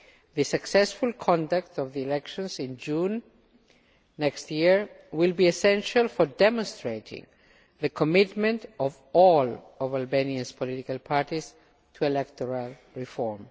The successful conduct of the elections in June next year will be essential for demonstrating the commitment of all of Albania's political parties to electoral reform.